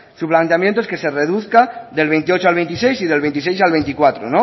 su planteamiento es que se reduzca del veintiocho al veintiséis y del veintiséis al veinticuatro